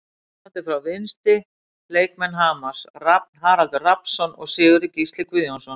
Standandi frá vinstri: Leikmenn Hamars, Rafn Haraldur Rafnsson og Sigurður Gísli Guðjónsson.